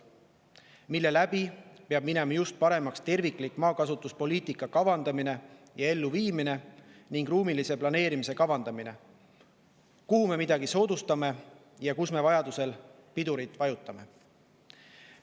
Seeläbi peaks minema paremaks tervikliku maakasutuspoliitika kavandamine ja elluviimine ning ruumilise planeerimise kavandamine: kus me midagi soodustame ja kus me vajadusel pidurit vajutame.